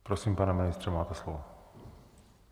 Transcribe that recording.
Prosím, pane ministře, máte slovo.